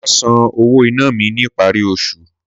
Mà á san owó iná mi ní ìparí osù